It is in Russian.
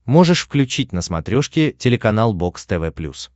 можешь включить на смотрешке телеканал бокс тв плюс